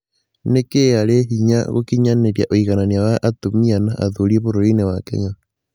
Nĩkĩĩ arĩ hinya gũkinyanĩria ũiganania wa atumia na athuri bũrũri-inĩ wa Kenya